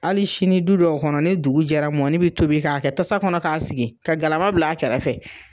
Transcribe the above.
Ali sini du dɔw kɔnɔ ni dugu jɛra mɔni be tobi k'a kɛ tasa kɔnɔ k'a sigi ka galama bil'a kɛrɛfɛ